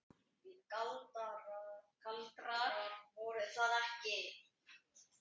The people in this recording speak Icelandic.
Því galdrar voru það ekki.